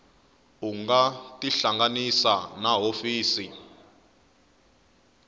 u nga tihlanganisa na hofisi